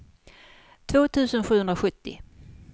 två tusen sjuhundrasjuttio